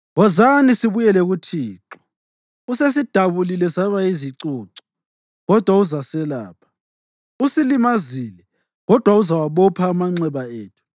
“Wozani sibuyele kuThixo. Usesidabule saba yizicucu kodwa uzaselapha; usilimazile kodwa uzawabopha amanxeba ethu.